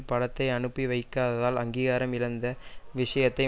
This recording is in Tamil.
படத்தை அனுப்பி வைக்காததால் அங்கீகாரம் இழந்த விஷயத்தை